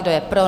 Kdo je pro?